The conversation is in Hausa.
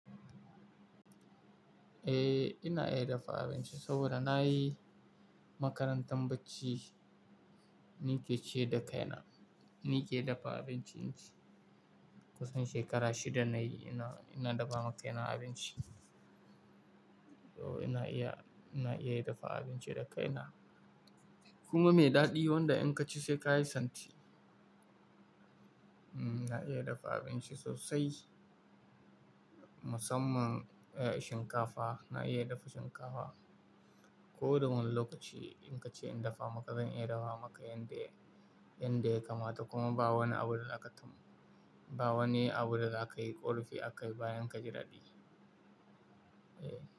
Eh, ina iya dafa abinci saboda na yi makarantar bacci, ni ke ciyar da kaina. Ni ke dafa abinci inci kusan shekara shida nayi ina, ina dafa ma kaina abinci. To ina iya, ina iya dafa abinci da kaina kuma mai daɗi wanda in ka ci sai ka yi santi. Hmm, na iya dafa abinci sosai musamman eh shinkafa, na iya dafa shinkafa. Ko da wani lokaci in ka ce in dafa maka zan iya dafa maka yanda ya, yanda ya kamata kuma ba wani abu da aka taɓa, ba wani abu da za ka yi ƙorafi akai bayan ka ji daɗi. Eh.